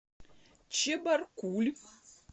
чебаркуль